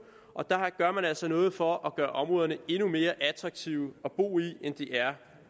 og der gør man altså noget for at gøre områderne endnu mere attraktive at bo i end de er